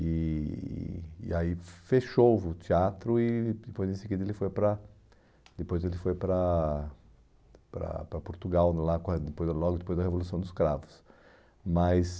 E e aí fechou o teatro e depois desse dia ele foi para depois ele foi para para para Portugal, logo depois da Revolução dos Cravos. Mas